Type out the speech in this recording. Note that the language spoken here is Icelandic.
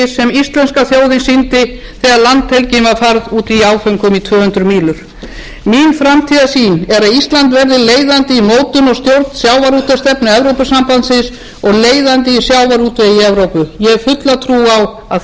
íslenska þjóðin sýndi þegar landhelgin var færð út í áföngum í tvö hundruð mílur mín framtíðarsýn er að ísland verði leiðandi í mótun og stjórn sjávarútvegsstefnu evrópusambandsins og leiðandi í sjávarútvegi í evrópu ég hef fulla trú á að